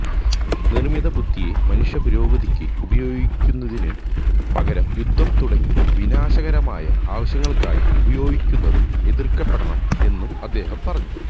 നിർമ്മിത ബുദ്ധിയെ മനുഷ്യപുരോഗതിക്ക് ഉപയോഗിക്കുന്നതിനുപകരം യുദ്ധം തുടങ്ങി വിനാശകരമായ ആവശ്യങ്ങൾക്കായി ഉപയോഗിക്കുന്നത് എതിർക്കപ്പെടണം എന്നും അദ്ദേഹം പറഞ്ഞു